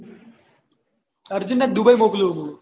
અર્જુન ને દુબઈ મોક્લીયું હતું